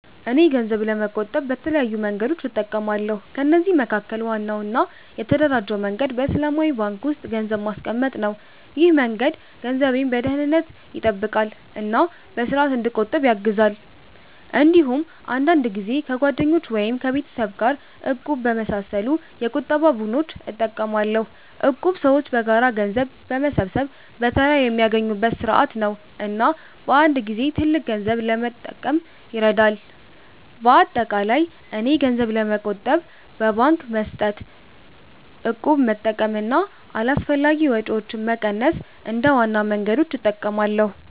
እኔ ገንዘብ ለመቆጠብ በተለያዩ መንገዶች እጠቀማለሁ። ከነዚህ መካከል ዋናው እና የተደራጀው መንገድ በእስላማዊ ባንክ ውስጥ ገንዘብ ማስቀመጥ ነው። ይህ መንገድ ገንዘቤን በደህንነት ይጠብቃል እና በስርዓት እንዲቆጠብ ያግዛል። እንዲሁም አንዳንድ ጊዜ ከጓደኞች ወይም ከቤተሰብ ጋር “እቁብ” በመሳሰሉ የቁጠባ ቡድኖች እጠቀማለሁ። እቁብ ሰዎች በጋራ ገንዘብ በመሰብሰብ በተራ የሚያገኙበት ስርዓት ነው እና በአንድ ጊዜ ትልቅ ገንዘብ ለመጠቀም ይረዳል። በአጠቃላይ እኔ ገንዘብ ለመቆጠብ በባንክ መስጠት፣ እቁብ መጠቀም እና አላስፈላጊ ወጪዎችን መቀነስ እንደ ዋና መንገዶች እጠቀማለሁ።